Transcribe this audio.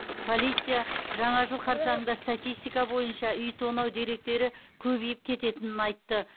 полиция жаңа жыл қарсаңында статистика бойынша үй тонау деректері көбейіп кететінін айтты